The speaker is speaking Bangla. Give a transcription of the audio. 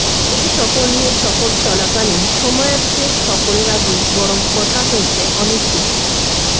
এই সফর নিয়ে সফর চলাকালীন সময়ের চেয়ে সফরের আগেই বরং কথা হয়েছে অনেক বেশি